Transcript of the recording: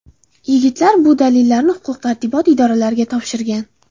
Yigitlar bu dalillarni huquq-tartibot idoralariga topshirgan.